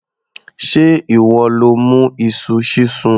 Sé ìwọ ló mú iṣu sísun?